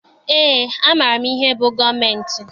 Eé, amaara m ihe bụ gọọmentị.